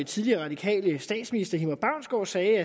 tidligere radikale statsminister hilmar baunsgaard sagde